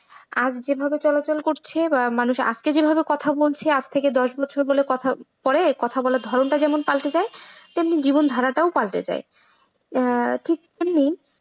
আজকে যেভাবে চলাচল করছে বা মানুষ আজকে যে ভাবে কথা বলছে আজ থেকে দশ বছর পরে কথা বলার ধরণটা যেমন পাল্টে যায় ঠিক তেমনি জীবন ধারাটাও পাল্টে যায়। ঠিক তেমনি,